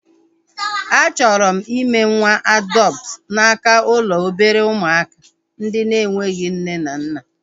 A chọrọ m ime nwa adọptu n'aka ụlọ obere ụmụaka ndị na-enweghị nne na nna